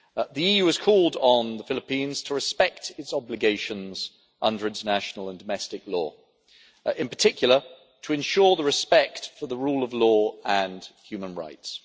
The EU has called on the Philippines to respect its obligations under international and domestic law, in particular to ensure the respect for the rule of law and human rights.